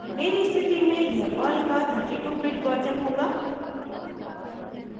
मेरी स्थिति में यह पर्ल का 32 bit वर्जन होगा